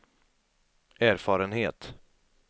erfarenhet